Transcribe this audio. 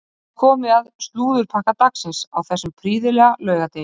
Þá er komið að slúðurpakka dagsins á þessum prýðilega laugardegi.